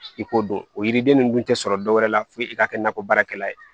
I ko dun o yiriden ninnu dun tɛ sɔrɔ dɔwɛrɛ la fo i ka kɛ nakɔ baarakɛla ye